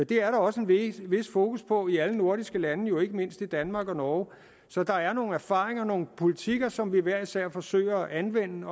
det er der også et et fokus på i alle nordiske lande jo ikke mindst i danmark og norge så der er nogle erfaringer og nogle politikker som vi hver især forsøger at anvende